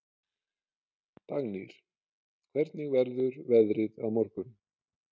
Dagnýr, hvernig verður veðrið á morgun?